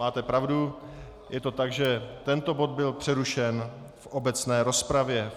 Máte pravdu, je to tak, že tento bod byl přerušen v obecné rozpravě.